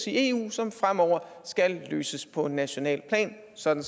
i eu som fremover skal løses på nationalt plan sådan